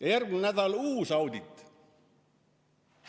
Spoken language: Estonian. Aga järgmine nädal on uus audit.